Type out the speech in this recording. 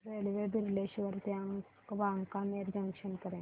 railway Bileshwar ते Wankaner junction पर्यंत